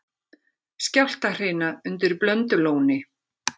Skjálftahrina undir Blöndulóni